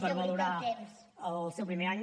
per valorar el seu primer any